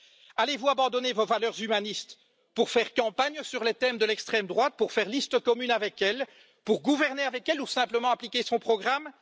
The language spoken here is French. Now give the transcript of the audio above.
Allez vous abandonner vos valeurs humanistes pour faire campagne sur les thèmes de l'extrême droite, pour faire liste commune avec elle, pour gouverner avec elle ou simplement appliquer son programme?